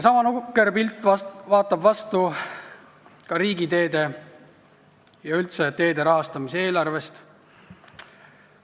Sama nukker pilt vaatab vastu ka riigiteede ja üldse teede rahastamise eelarvest.